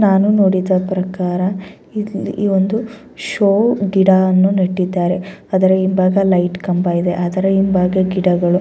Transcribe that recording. ನಾನು ನೋಡಿದ ಪ್ರಕಾರ ಇದು ಈ ಒಂದು ಷೋ ಗಿಡವನ್ನು ನೆಟ್ಟಿದ್ದಾರೆ. ಅದರ ಹಿಂಭಾಗ ಲೈಟ್ ಕಂಬ ಇದೆ ಅದರ ಹಿಂಭಾಗ ಗಿಡಗಳು.